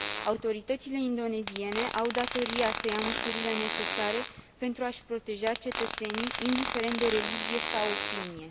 Autoritățile indoneziene au datoria să ia măsurile necesare pentru a și proteja cetățenii, indiferent de religie sau opinie.